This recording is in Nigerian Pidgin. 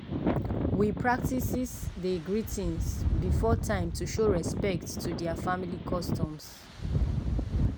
we practices dey greetings before time to show respect to their family customs.